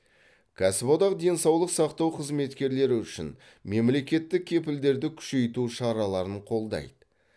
кәсіподақ денсаулық сақтау қызметкерлері үшін мемлекеттік кепілдерді күшейту шараларын қолдайды